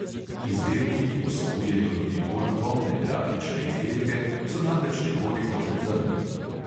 Izdelki, ki vsebujejo tudi bolj polne grafične izdelke, so namreč nekoliko pretemni.